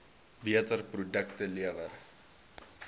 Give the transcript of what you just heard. beter produkte lewer